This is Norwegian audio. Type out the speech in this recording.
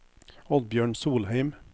Oddbjørn Solheim